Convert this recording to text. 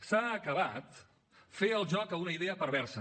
s’ha acabat fer el joc a una idea perversa